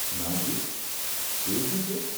નાજી, એ શું છે?